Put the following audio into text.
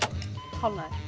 hálfnaður